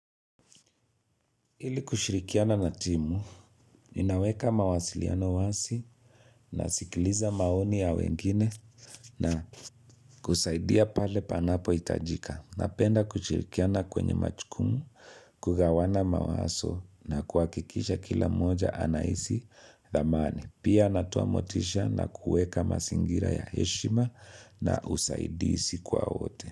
Ili kushirikiana na timu, inaweka mawasiliano wasi nasikiliza maoni ya wengine na kusaidia pale panapo hitajika. Napenda kushirikiana kwenye machukumu, kugawana mawaso na kuhakikisha kila mmoja anahisi dhamani. Pia natoa motisha na kuweka masingira ya heshima na usaidisi kwa wote.